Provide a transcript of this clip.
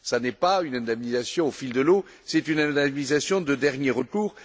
Ce n'est pas une indemnisation au fil de l'eau, c'est une indemnisation de dernier recours.